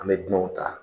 An bɛ dunanw ta